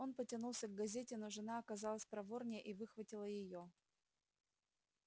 он потянулся к газете но жена оказалась проворнее и выхватила её